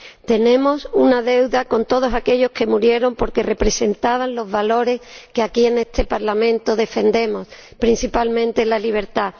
Tenemos una deuda con todos aquellos que murieron porque representaban los valores que, aquí, en este Parlamento defendemos, principalmente la libertad.